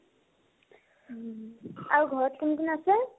আৰু ঘৰত কোন কোন আছে ?